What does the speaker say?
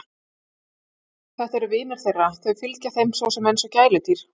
Þetta eru vinir þeirra, þau fylgja þeim svona eins og gæludýr.